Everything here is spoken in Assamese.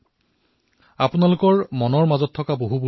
বিভিন্ন বিষয় সামৰি আপোনালোকৰ এই মন কী বাত মই লাভ কৰিছো